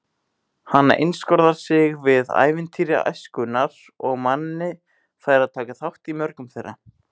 Hann einskorðar sig við ævintýri æskunnar og Manni fær að taka þátt í mörgum þeirra.